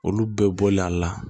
Olu bɛɛ bɔlen a la